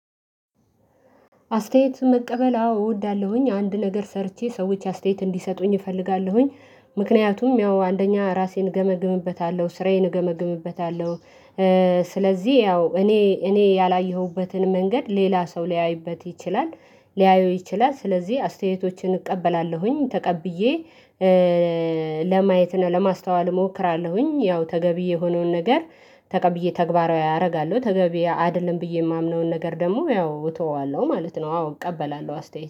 አስተያየት መቀበል አዎ እወዳለሁኝ አንድ ነገር ሰርቼ ሰዎች አስተያየት እንዲሰጡኝ እፈልጋለሁኝ። ምክንያቱም ያው አንደኛ ራሴን እገመግምበታለሁ ስራዬን እገመግምበታለሁ። ስለዚህ ያው እኔ እኔ ያላየሁበትን መንገድ ሌላ ሰው ሊያይበት ይችላል ሊያየው ይችላል። ስለዚህ አስተያየቶችን እቀበላለሁኝ ተቀብዬ ለማየት እና ለማስተዋል እሞክራለሁኝ ያው ተገቢ የሆነውን ነገር ተቀብዬ ተግባራዊ አረጋለሁ። ተገቢ አይደለም ብዬ የማምነውን ነገር ደግሞ ያው እተወዋለሁ ማለት ነው። አዎ እቀበላለሁ አስተያየት